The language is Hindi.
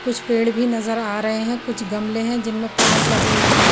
कुछ पेड़ भी नजर आ रहे हैं कुछ गमले हैं जिनमें प्लांट लगे हुए हैं।